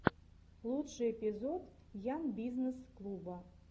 лучший эпизод ян бизнесс клуба